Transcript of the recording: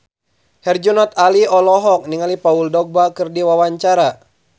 Herjunot Ali olohok ningali Paul Dogba keur diwawancara